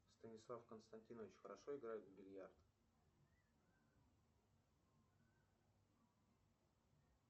станислав константинович хорошо играет в бильярд